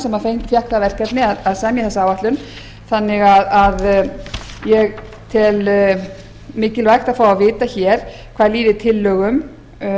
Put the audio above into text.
sem fékk það verkefni að semja þessa áætlun þannig að ég tel mikilvægt að fá að vita hér hvað líður tillögum